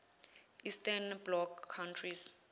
eastern bloc countries